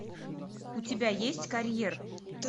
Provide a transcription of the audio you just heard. у тебя есть карьер